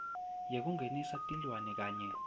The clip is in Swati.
yekungenisa tilwane kanye